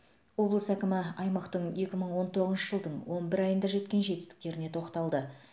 облыс әкімі аймақтың екі мың он тоғызыншы жылдың он бір айында жеткен жетістеріне тоқталды